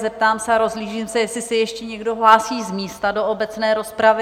Zeptám se, rozhlížím se, jestli se ještě někdo hlásí z místa do obecné rozpravy?